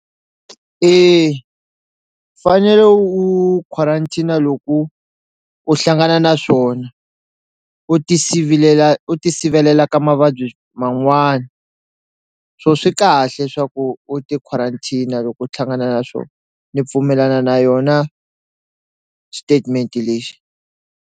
E u fanele u u quarantine-a loko u hlangana na swona u ti sivelela u ti sivilela ka mavabyi man'wani swo swi kahle swaku u ti quarantine-a loko u hlangana na swo ni pfumelana na yona xitetimenti lexi.